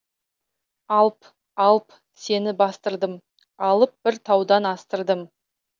алп алп сені бастырдым алып бір таудан астырдым